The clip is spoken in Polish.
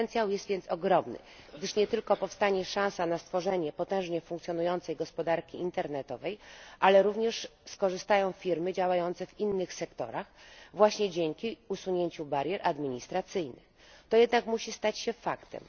Potencjał jest więc ogromny, gdyż nie tylko zaistnieje szansa stworzenia potężnie funkcjonującej gospodarki internetowej, ale również skorzystają na tym firmy działające w innych sektorach, właśnie dzięki usunięciu barier administracyjnych. To jednak musi stać się faktem.